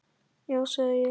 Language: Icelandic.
Já sagði ég.